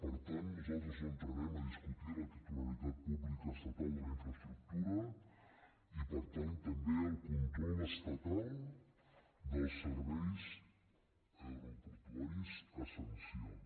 per tant nosaltres no entrarem a discutir la titularitat pública estatal de la infraestructura i per tant també el control estatal dels serveis aeroportuaris essencials